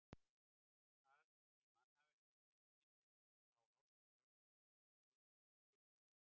Að í mannhafinu finnist enginn sem á ást í brjósti til skiptanna.